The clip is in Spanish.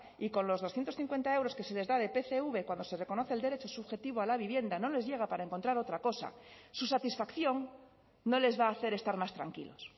y con los doscientos cincuenta euros que se les da de pcv cuando se reconoce el derecho subjetivo a la vivienda no les llega para encontrar otra cosa su satisfacción no les va a hacer estar más tranquilos